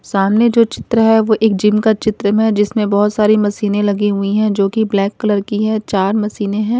सामने जो चित्र है वो एक जिम का चित्र मे जिसमें बहोत सारी मशीनें लगी हुई है जो कि ब्लैक कलर की है चार मशीनें है।